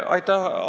Aitäh!